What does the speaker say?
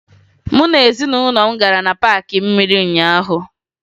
Mụ na ezinụlọ m gara na paakị mmiri ụnyaahụ